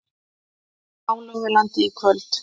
Hálogalandi í kvöld.